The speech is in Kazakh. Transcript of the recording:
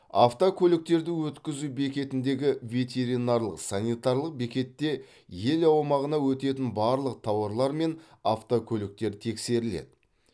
автокөліктерді өткізу бекетіндегі ветеринарлық санитарлық бекетте ел аумағына өтетін барлық тауарлар мен автокөліктер тексеріледі